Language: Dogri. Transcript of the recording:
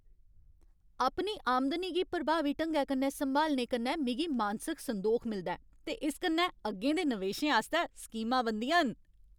अपनी आमदनी गी प्रभावी ढंगै कन्नै संभालने कन्नै मिगी मानसिक संदोख मिलदा ऐ ते इस कन्नै अग्गें दे नवेशें आस्तै स्कीमां बनदियां न।